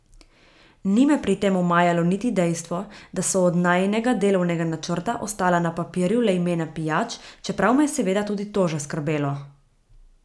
Ni me pri tem omajalo niti dejstvo, da so od najinega delovnega načrta ostala na papirju le imena pijač, čeprav me je seveda tudi to že skrbelo.